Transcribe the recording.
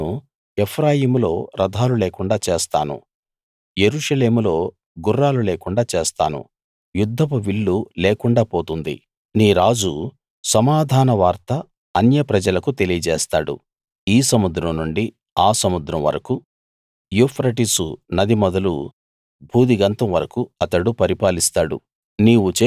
నేను ఎఫ్రాయిములో రథాలుండకుండా చేస్తాను యెరూషలేములో గుర్రాలు లేకుండా చేస్తాను యుద్ధపు విల్లు లేకుండా పోతుంది నీ రాజు సమాధానవార్త అన్యప్రజలకు తెలియజేస్తాడు ఈ సముద్రం నుండి ఆ సముద్రం వరకూ యూఫ్రటీసు నది మొదలు భూదిగంతం వరకూ అతడు పరిపాలిస్తాడు